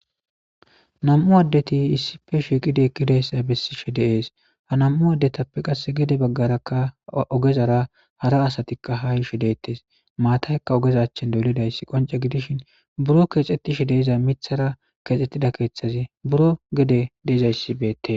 Nam'u addeti issife shiqide kidayssa bessishe deees ha nam'u addetappe qasse gede baggarakka ogezara hara asatikka ha yishe deettes maataykka ogezachchen dolidays qonce gidishin buro keexettishi deiza mithara keexxettida keeththazi buro gede deiza issibeette.